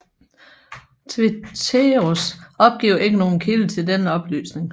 Tveteraas opgiver ikke nogen kilde til denne oplysning